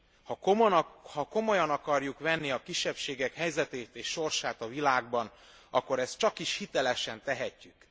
Ha komolyan akarjuk venni a kisebbségek helyzetét és sorsát a világban, akkor ezt csakis hitelesen tehetjük.